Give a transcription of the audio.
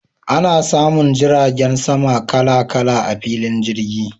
Ana samun jiragen sama kala kala a filin jirgi.